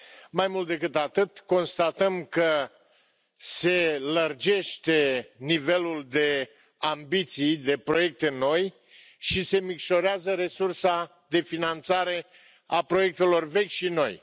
Mai mult decât atât, constatăm că se lărgește nivelul de ambiții de proiecte noi și se micșorează resursa de finanțare a proiectelor vechi și noi.